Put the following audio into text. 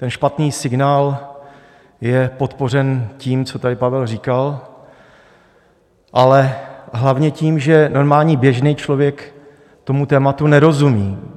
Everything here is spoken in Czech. Ten špatný signál je podpořen tím, co tady Pavel říkal, ale hlavně tím, že normální běžný člověk tomu tématu nerozumí.